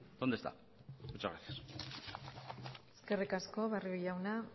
dónde está muchas gracias eskerrik asko barrio jauna